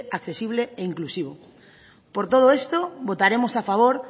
accesible e inclusivo por todo esto votaremos a favor